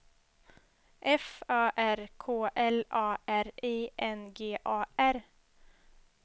F Ö R K L A R I N G A R